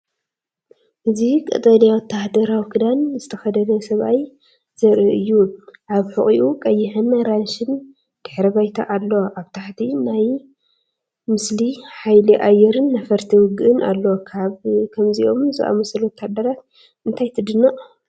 እዚ ቀጠልያ ወተሃደራዊ ክዳን ዝተኸድነ ሰብኣይ ዘርኢ እዩ። ኣብ ሕቖኡ ቀይሕን ኣራንሺን ድሕረ ባይታ ኣሎ። ኣብ ታሕቲ ናይቲ ምስሊ ሓይሊ ኣየርን ነፈርቲ ውግእን ኣሎ። ካብ ከምዚኦም ዝኣመሰሉ ወተሃደራት እንታይ ትድነቕ?